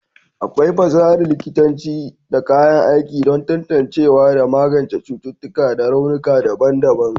akwai fasahar likitanci da kayan aiki don tantancewa da magance cututtuƙa da raunuka daban-daban